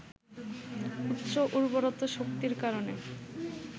উচ্চ উর্বরতা শক্তির কারণে